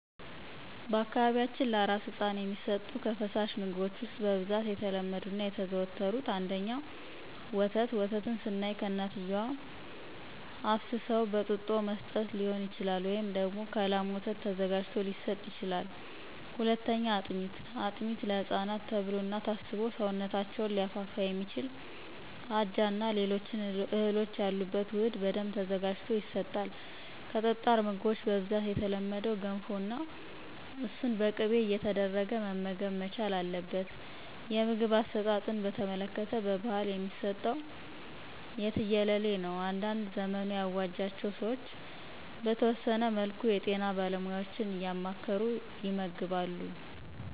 በአካባቢያችን ለአራስ ህፃን የሚሰጡ ከፈሳሽ ምግቦች ውስጥ በብዛት የተለመዱት እና የተዘወተሩት፦ ፩) ወተት፦ ወተትን ስናይ ከእናትየዋ አፍስሰው በጡጦ መስጠት ሊሆን ይችላል፤ ወይም ደግሞ ከላም ወተት ተዘጋጅቶ ሊሰጥ ይችላል። ፪) አጥሜት፦ አጥሜት ለህፃናት ተብሎ እና ታስቦ ሰውነታቸውን ሊያፋፋ የሚችል አጃ እና ሌሎች እህሎች ያሉበት ውህድ በደንብ ተዘጋጅቶ ይሰጣል። ከጠጣር ምግቦች በብዛት የተለመደው ገንፎ ነው እሱን በቅቤ እየተደረገ መመገብ መቻል አለበት። የምግብ አሰጣጥን በተመለከተ በባህል የሚሰጠው የትየለሌ ነው። አንዳንድ ዘመኑ ያዋጃቸው ሰዎች በተወሰነ መልኩ የጤና ባለሙያዎችን እያማከሩ ይመግባሉ።